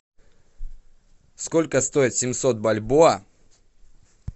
сколько стоит семьсот бальбоа